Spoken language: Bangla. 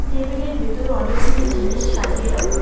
টেবিল -এর ভেতরে অনেকগুলি জিনিস সাজিয়ে রাখা।